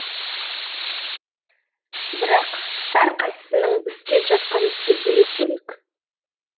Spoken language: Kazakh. бірақ әрқайсысының істеп жатқан ісі бөлек бөлек